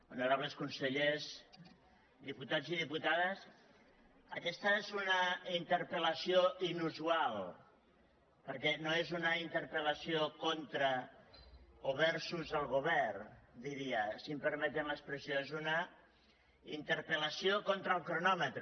honorables consellers diputats i diputades aquesta és una interpel·lació inu sual perquè no és una interpel·lació contra o versus el govern diria si em permeten l’expressió és una interpellació contra el cronòmetre